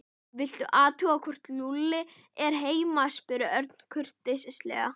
Viltu athuga hvort Lúlli er heima spurði Örn kurteislega.